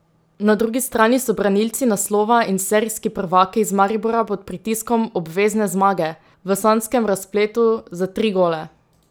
Na drugi strani so branilci naslova in serijski prvaki iz Maribora pod pritiskom obvezne zmage, v sanjskem razpletu za tri gole!